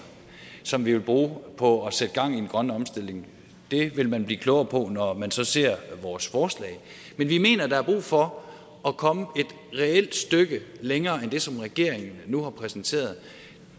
som vi vil bruge på at sætte gang i den grønne omstilling det vil man blive klogere på når man så ser vores forslag men vi mener at der er brug for at komme et reelt stykke længere end det som regeringen nu har præsenteret